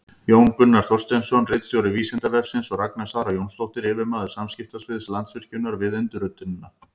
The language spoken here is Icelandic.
Jón Gunnar Þorsteinsson, ritstjóri Vísindavefsins, og Ragna Sara Jónsdóttir, yfirmaður samskiptasviðs Landsvirkjunar, við undirritunina.